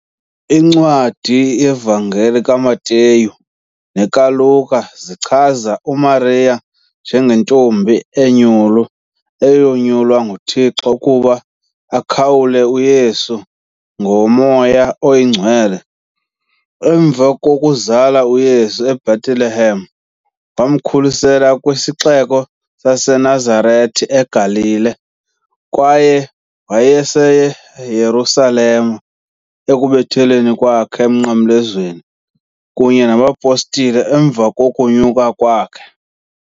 Incwadi yevangeli kaMateyu nekaLuka zichaza uMariya njengentombi enyulu eyanyulwa nguThixo ukuba akhawule uYesu ngoMoya Oyingcwele . Emva kokuzala uYesu eBhetelehem, wamkhulisela kwisixeko saseNazarete eGalili, kwaye wayeseYerusalem ekubethelweni kwakhe emnqamlezweni kunye nabapostile emva kokunyuka kwakhe.